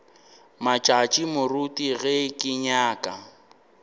matšatši moruti ge ke nyaka